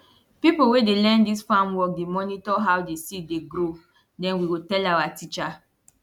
pipo wey dey learn dis farm work dey monitor how di seed dey grow den we go tell awa teacher